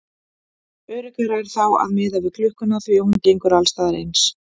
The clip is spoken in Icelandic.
Öruggara er þá að miða við klukkuna því að hún gengur alls staðar eins.